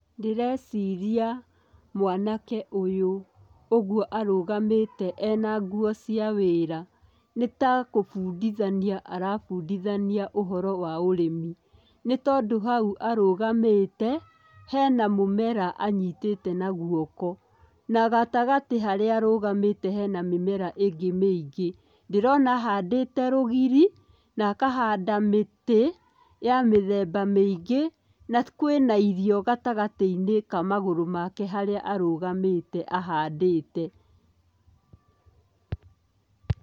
Ndĩreciria mwanake ũyũ ũguo arũgamĩte ena nguo cia wĩra, nĩ ta kũbunditania arabundithania ũhoro wa ũrĩmi, nĩ tondũ hau arũgamĩte, hena mũmera anyitĩte na guoko, na gatagatĩ harĩa arũgamĩte hena mĩmera ĩngĩ mĩingĩ, ndĩrona ahandĩte rũgiri, na akahanda mĩtĩ ya mĩthemba mĩingĩ, na kwĩna irio gatagatĩ-inĩ ka magũrũ make harĩa arũgamĩte ahandĩte.